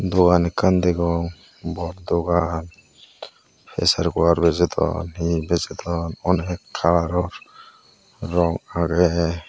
dogan ekkan degong bor dogan pesar koar bejodon hi hi bejodon onek kalaror rong agey.